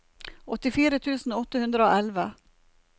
åttifire tusen åtte hundre og elleve